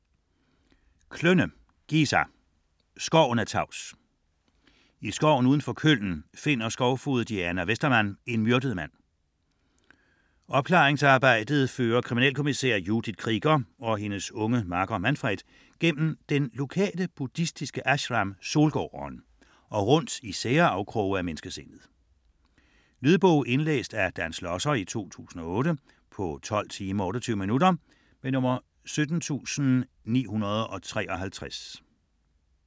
Klönne, Gisa: Skoven er tavs I skoven uden for Köln finder skovfoged Diana Westermann en myrdet mand. Opklaringsarbejdet fører kriminalkommissær Judith Krieger og hendes unge makker Manfred gennem den lokale buddhistiske ashram Solgården og rundt i sære afkroge af menneskesindet. Lydbog 17953 Indlæst af Dan Schlosser, 2008. Spilletid: 12 timer, 28 minutter.